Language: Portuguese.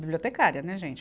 Bibliotecária, né, gente?